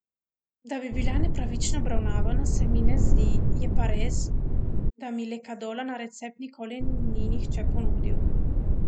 Da bi bila nepravično obravnavana, se mi ne zdi, je pa res, da mi lekadola na recept nikoli ni nihče ponudil.